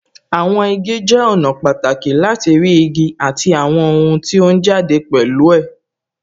Àwọn igi jẹ́ ọ̀nà pàtàkì láti rí igi àti àwọn ohun tí ó jáde pẹ̀lú ẹ̀